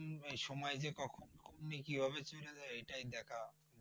সময় যে কখন কিভাবে চলে যায় এটাই দেখা।